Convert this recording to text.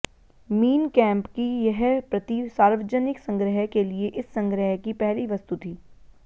mean Kampf की यह प्रति सार्वजनिक संग्रह के लिए इस संग्रह की पहली वस्तु थी